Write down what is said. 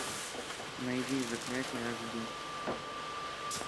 найди заклятие аш ди